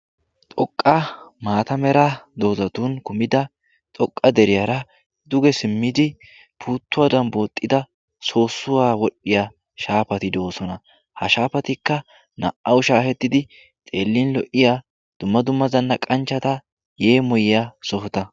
xoqqa maata mera doozatun kumida xoqqa deriyaara duge simmidi puuttuwaadan booxxida soossuwaa wodhdhiya shaafati do7osona ha shaafatikka naa77au shaahettidi xeellin lo77iya dumma dumma zanna qanchchata yeemuyyaa sohota